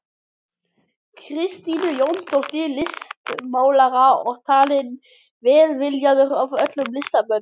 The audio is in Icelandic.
Kristínu Jónsdóttur listmálara og talinn velviljaður öllum listamönnum.